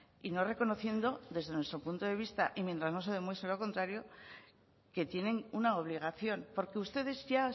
y no reconociendo desde nuestro punto de vista y mientras no se demuestre lo contrario que tienen una obligación porque ustedes ya